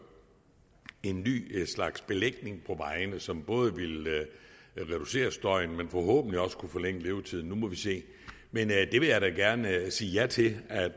en ny slags belægning på vejene som både ville reducere støjen og forhåbentlig også forlænge levetiden nu må vi se men det vil jeg da gerne sige ja til at